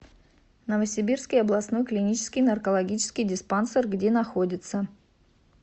новосибирский областной клинический наркологический диспансер где находится